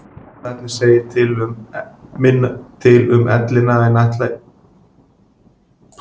Erfðaefnið segir minna til um ellina en ætla mætti við fyrstu sýn.